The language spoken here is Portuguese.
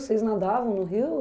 Vocês nadavam no rio?